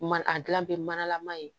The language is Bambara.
Ma a gilan bɛ manalama ye